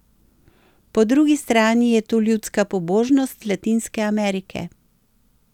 Po drugi strani je tu ljudska pobožnost Latinske Amerike.